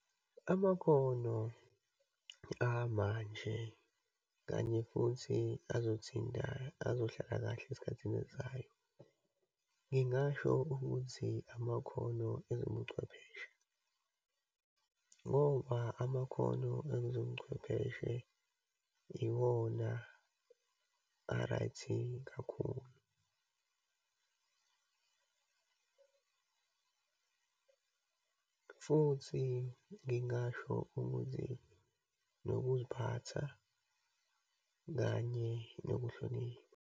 Amakhono amanje, kanye futhi azothinta, azohlala kahle esikhathini esizayo, ngingasho ukuthi amakhono ezobuchwepheshe, ngoba amakhono ezobuchwepheshe iwona a-right-i kakhulu. Futhi ngingasho ukuthi nokuziphatha, kanye nokuhlonipha.